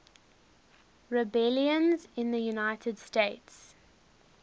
rebellions in the united states